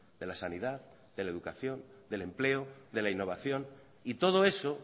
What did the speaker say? de la sanidad de la educación del empleo de la innovación y todo eso